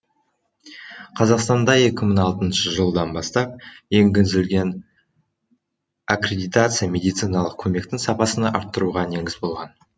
қазақстанда екі мың алтыншы жылдан бастап енгізілген аккредитация медициналық көмектің сапасыны арттыруға негіз болған